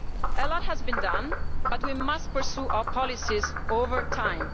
A lot has been done, but we must pursue our policies over time.